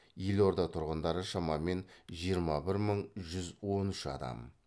елорда тұрғындары шамамен жиырма бір мың жүз он үш адам